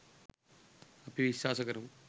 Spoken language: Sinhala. අපි විශ්වාස කරමු.